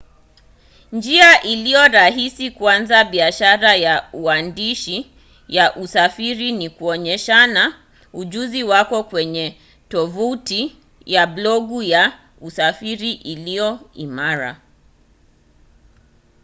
njia ilio rahisi kuanza biashara ya uandishi wa usafiri ni kuonyeshana ujuzi wako kwenye tovuti ya blogu ya usafiri iliyo imara